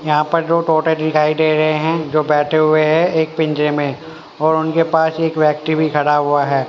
यहां पर दो तोते दिखाई दे रहे हैं जो बैठे हुए हैं एक पिंजरे में और उनके पास एक व्यक्ति भी खड़ा हुआ है।